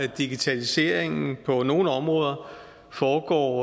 digitaliseringen på nogle områder foregår